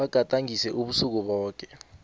bagadangise ubusuku boke